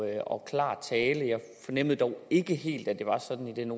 og klar tale jeg fornemmede dog ikke helt at det var sådan i den